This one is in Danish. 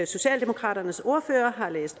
socialdemokraternes ordfører